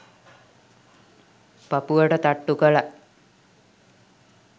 පපුවට තට්ටු කළා.